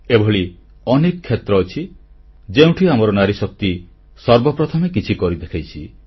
ଏଭଳି ଅନେକ କ୍ଷେତ୍ର ଅଛି ଯେଉଁଠି ଆମର ନାରୀଶକ୍ତି ସର୍ବ ପ୍ରଥମେ କିଛି କରି ଦେଖାଇଛି